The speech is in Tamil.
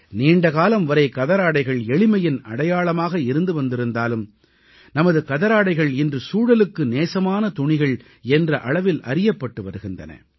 நீண்டகாலம் வரை கதராடைகள் எளிமையின் அடையாளமாக இருந்து வந்திருந்தாலும் நமது கதராடைகள் இன்று சூழலுக்கு நேசமான துணிகள் என்ற அளவில் அறியப்பட்டு வருகின்றன